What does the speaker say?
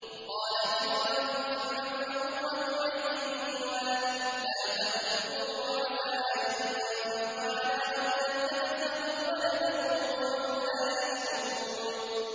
وَقَالَتِ امْرَأَتُ فِرْعَوْنَ قُرَّتُ عَيْنٍ لِّي وَلَكَ ۖ لَا تَقْتُلُوهُ عَسَىٰ أَن يَنفَعَنَا أَوْ نَتَّخِذَهُ وَلَدًا وَهُمْ لَا يَشْعُرُونَ